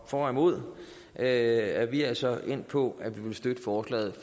for og imod er vi altså endt på at vil støtte forslaget